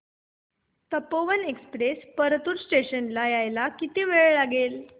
Tapovan express Partur station ला यायला किती वेळ लागेल